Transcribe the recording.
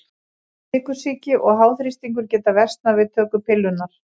Sykursýki og háþrýstingur geta versnað við töku pillunnar.